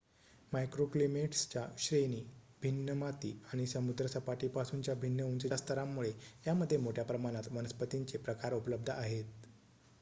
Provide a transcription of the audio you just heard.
मायक्रोक्लीमेट्सच्या श्रेणी भिन्न माती आणि समुद्रसपाटीपासूनच्या भिन्न उंचीच्या स्तरांमुळे यामध्ये मोठ्या प्रमाणात वनस्पतींचे प्रकार उपलब्ध आहेत